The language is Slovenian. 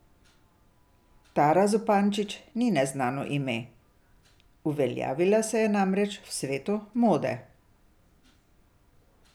Tara Zupančič ni neznano ime, uveljavila se je namreč v svetu mode.